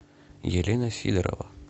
елена сидорова